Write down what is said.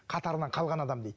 қатарынан қалған адам дейді